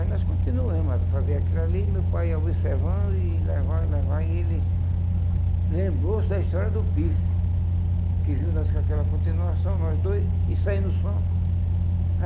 Aí nós continuamos a fazer aquilo ali, meu pai observando e levando, levando, e ele lembrou-se da história do pife, que viu nós com aquela continuação, nós dois, e saindo som.